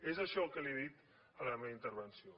és això el que li he dit en la meva intervenció